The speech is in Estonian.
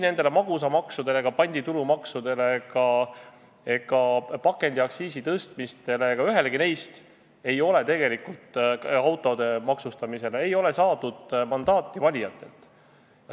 Ei magusamaksule, panditulumaksule, pakendiaktsiisi tõstmistele ega autode maksustamisele, ühelegi neist ei ole tegelikult saadud mandaati valijatelt.